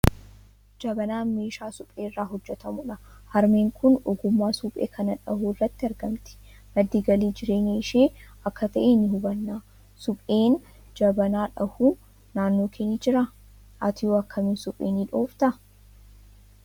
Jabanaan meeshaa suphee irraa hojjetamudha. Harmeen kun ogummaa suphee kana dhahuu irratti argamti. Madda galii jireenya ishii akka ta'e ni hubanna. Supheen jaabanaa dhahu naannoo kee ni jira? Atihoo akkami suphee ni dhooftaa?